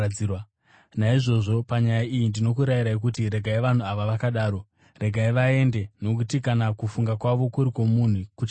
Naizvozvo, panyaya iyi ndinokurayirai kuti: Regai vanhu ava vakadaro! Regai vaende! Nokuti kana kufunga kwavo kuri kwomunhu, kuchaguma.